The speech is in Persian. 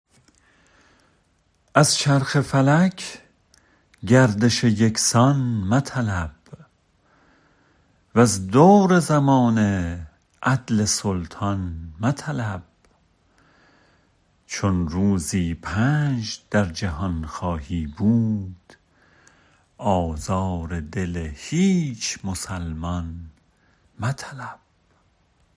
از چرخ فلک گردش یکسان مطلب وز دور زمانه عدل سلطان مطلب چون روزی پنج در جهان خواهی بود آزار دل هیچ مسلمان مطلب